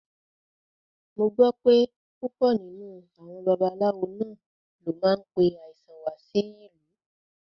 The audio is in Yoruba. Mo gbọ́ pé púpọ̀ nínú àwọn babaláwo náà ló máa ń pe àìsàn wá sí ìlú